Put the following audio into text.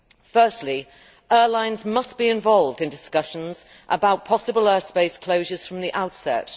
Firstly, airlines must be involved in discussions about possible airspace closures from the outset.